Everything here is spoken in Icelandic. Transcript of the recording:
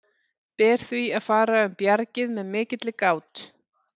Ber því að fara um bjargið með mikilli gát.